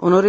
Señora